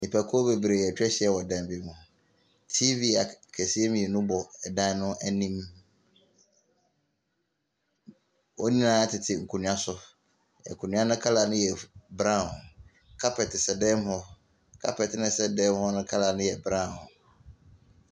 Nnipakuo bebree atwa ahyia wɔ dan bi mu. TV akɛseɛ mmienu bɔ dan no anim. Wɔn nyinaa tete nkonnwa so. Nkonnwa no colour no brown. kapɛt sɛ dan no mu. Kapɛt a ɛsɛ fan no mu color yɛ brown.